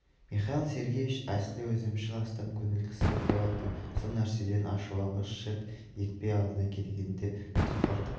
михаил сергеевич әсілі өзімшіл астам көңіл кісі болатын сәл нәрседен ашуланғыш шырт етпе алдына келгенді тұқыртып